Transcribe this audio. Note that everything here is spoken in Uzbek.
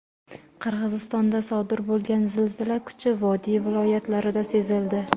Qirg‘izistonda sodir bo‘lgan zilzila kuchi vodiy viloyatlarida sezildi.